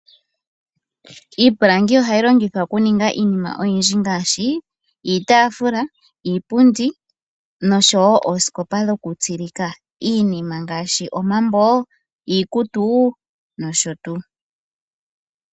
Iipilangi ohayi longithwa okuninga iinima oyindji ngaashi iitaafula, iipundi noshowoo oosikopa dhoku tsilika iinima ngaashi omambo, iikutu noshotuu.